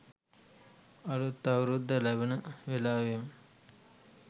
අලුත් අවුරුද්ද ලබන වෙලාවේම